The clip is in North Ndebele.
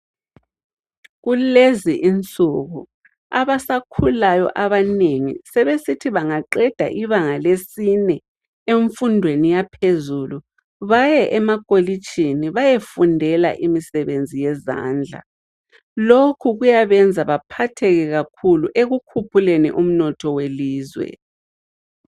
Kulezi insuku abasakhulayo abanengi sebesithi bangaqeda ibanga lesine emfundweni yaphezulu baye emakolitshini bayefundela imisebenzi yezandla. Lokhu kuyabenza baphatheke kakhulu ekukhuphuleni umnotho welizwe.